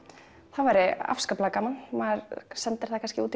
það væri afskaplega gaman maður sendir það kannski út